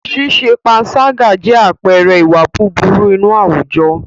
Ṣíṣe pańṣágà jẹ́ àpẹẹrẹ ìwà búburú inú àwùjọ.